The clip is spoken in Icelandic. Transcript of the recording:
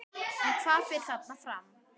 En hvað fer þarna fram?